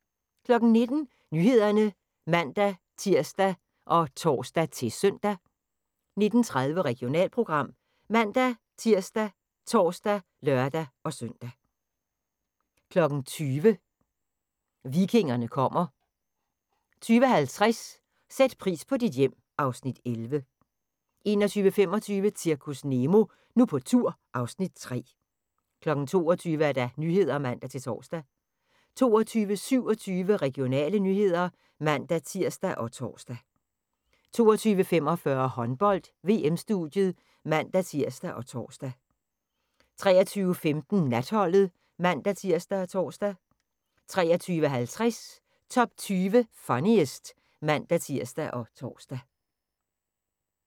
19:00: Nyhederne (man-tir og tor-søn) 19:30: Regionalprogram ( man-tir, tor, lør-søn) 20:00: Vikingerne kommer 20:50: Sæt pris på dit hjem (Afs. 11) 21:25: Zirkus Nemo – Nu på tur (Afs. 3) 22:00: Nyhederne (man-tor) 22:27: Regionale nyheder (man-tir og tor) 22:45: Håndbold: VM-studiet (man-tir og tor) 23:15: Natholdet (man-tir og tor) 23:50: Top 20 Funniest (man-tir og tor)